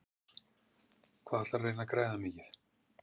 Magnús: Hvað ætlarðu að reyna að græða mikið?